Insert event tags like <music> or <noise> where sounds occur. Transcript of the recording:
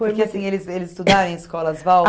Porque assim, eles eles estudaram em escolas <unintelligible>